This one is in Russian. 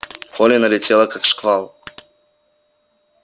колли налетела как шквал